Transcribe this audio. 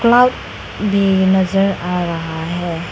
Cloud भी नजर आ रहा है।